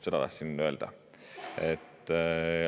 Seda tahtsin öelda.